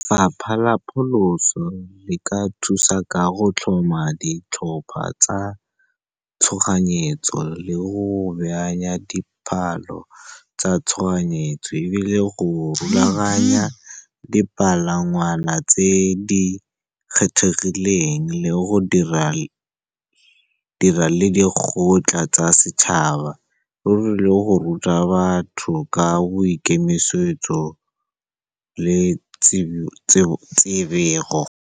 Fapha la pholoso le ka thusa ka go tlhoma ditlhopha tsa tshoganyetso, le go tsa tshoganyetso, ebile go rulaganya dipalangwana tse di kgethegileng, le go dira lekgotla tsa setšhaba ruri, le go ruta batho ka boikemisetso le .